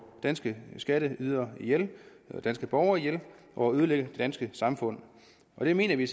danske skatteydere danske borgere ihjel og ødelægge det danske samfund det mener vi